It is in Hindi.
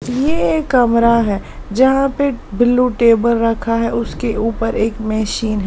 ये एक कमरा है जहां पे ब्लू टेबल रखा है उसके ऊपर एक मशीन है।